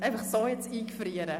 Bitte so einfrieren!